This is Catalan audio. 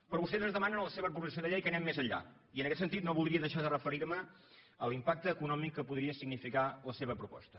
però vostès ens demanen en la seva proposició de llei que anem més enllà i en aquest sentit no voldria deixar de referirme a l’impacte econòmic que podria significar la seva proposta